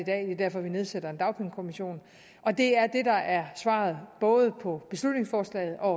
er derfor vi nedsætter en dagpengekommission og det er det der er svaret både på beslutningsforslaget og